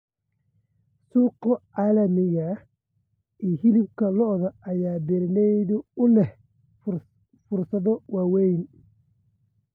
Suuqa caalamiga ah ee hilibka lo'da ayaa beeralayda u leh fursado waaweyn.